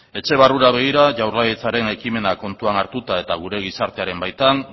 etxe barrura begira jaurlaritzaren ekimena kontuan hartuta eta gure gizartearen baitan